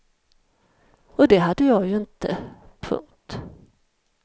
Och det hade jag ju inte. punkt